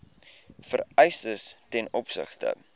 vereistes ten opsigte